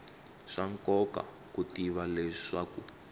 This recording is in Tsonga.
swa nkoka ku tiva leswaku